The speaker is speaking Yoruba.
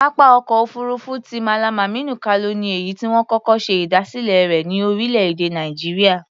Pápá ọkọ̀ òfuurufú ti Mallam Aminu Kano ni èyí tí wọ́n kọ́kọ́ ṣe ìdásílẹ̀ rẹ̀ ní orílẹ̀-èdè Nàìjíríà.